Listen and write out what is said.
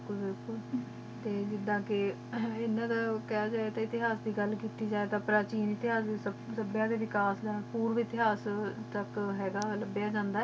ਹਮਮ ਜਿਦਾਂ ਕੀ ਹਾਤੀਹਾਸ ਦੇ ਘਾਲ ਕੀਤੀ ਜੇ ਟੀ ਤਾ ਪ੍ਰਤਿਨਿ ਤਾਯਾਜ਼ ਦਾਬ੍ਯ੍ਯਾ ਨਿਕਾਸ ਪੋਰਵੀ ਇਤਿਹਾਸ ਤਕ ਹੈ ਗਾ ਲਾਬਿਯਾ